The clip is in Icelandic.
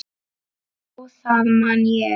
Já, það man ég